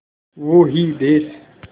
वो ही देस